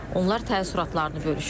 Onlar təəssüratlarını bölüşüblər.